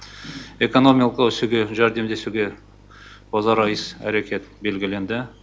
экономикалық өсуге жәрдемдесуге өзара іс әрекет белгіленді